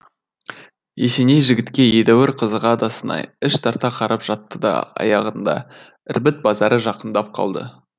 есеней жігітке едәуір қызыға да сынай іш тарта қарап жатты да аяғында ірбіт базары жақындап қалды